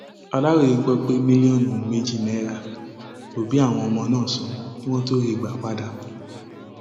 aláròye gbọ pé mílíọnù méjì náírà lòbí àwọn ọmọ náà sàn kí wọn tóó rí wọn gbà padà